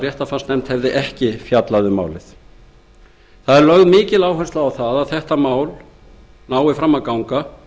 nefndin hefði ekki fjallað um málið lögð er mikil áhersla á að frumvarpið nái fram að ganga